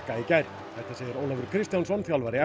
í gær usain Bolt